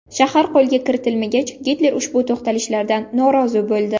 Shahar qo‘lga kiritilmagach, Gitler ushbu to‘xtalishlardan norozi bo‘ldi.